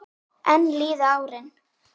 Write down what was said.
Enn líða árin.